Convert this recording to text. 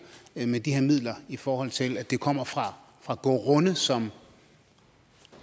med de her midler i forhold til at det kommer fra fra grunde som